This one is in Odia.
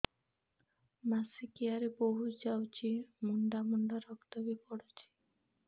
ମାସିକିଆ ରେ ବହୁତ ଯାଉଛି ମୁଣ୍ଡା ମୁଣ୍ଡା ରକ୍ତ ବି ପଡୁଛି